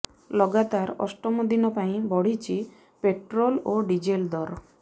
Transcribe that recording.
ଲଗାତାର ଅଷ୍ଟମ ଦିନ ପାଇଁ ବଢ଼ିଛି ପେଟ୍ରୋଲ ଓ ଡିଜେଲ ଦର